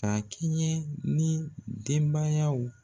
K'a kɛɲɛ ni denbayaw